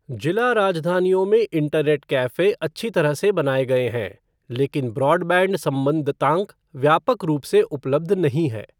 जिला राजधानियों में इंटरनेट कैफ़े अच्छी तरह से बनाए गए हैं, लेकिन ब्रॉडबैंड संबद्धतांक व्यापक रूप से उपलब्ध नहीं है।